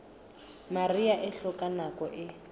mariha e hloka nako e